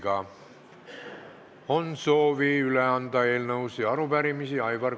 Kas on soovi üle anda eelnõusid ja arupärimisi?